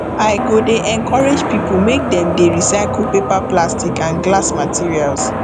i go dey encourage pipo make dem dey recycle paper plastic and glass materials